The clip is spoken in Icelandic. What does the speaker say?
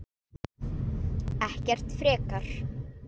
Ekkert frekar.